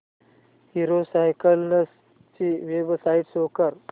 hero Cycles ची website show कर